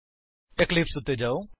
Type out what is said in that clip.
Eclipse ਉੱਤੇ ਜਾਓ